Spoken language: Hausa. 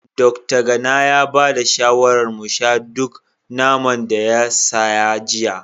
Dokta Gana ya ba da shawarar mu sha duk naman da ya saya jiya